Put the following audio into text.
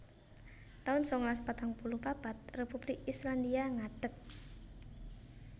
taun sangalas patang puluh papat Republik Islandia ngadeg